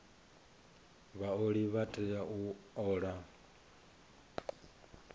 vhaoli vha tea u ola